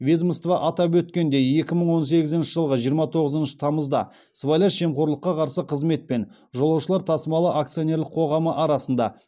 ведомство атап өткендей екі мың он сегізінші жылғы жиырма тоғызыншы тамызда сыбайлас жемқорлыққа қарсы қызмет пен жолаушылар тасымалы акционерлік қоғамы арасында